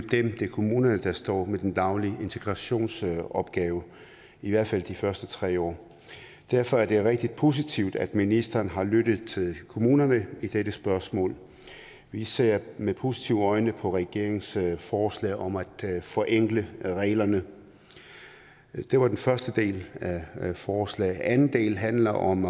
kommunerne der står med den daglige integrationsopgave i hvert fald de første tre år derfor er det rigtig positivt at ministeren har lyttet til kommunerne i dette spørgsmål vi ser med positive øjne på regeringens forslag om at forenkle reglerne det var den første del af forslaget anden del handler om